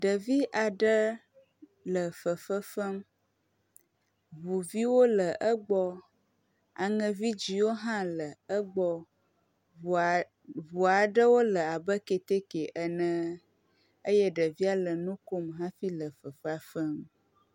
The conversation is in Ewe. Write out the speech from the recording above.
Ɖevi aɖe le fefefem. Ŋu viwo le egbɔ, aŋevidziwo hã le egbɔ. Ŋua ŋu aɖewo le abe keteke ene eye ɖevia le nu kom hafi le fefea fem.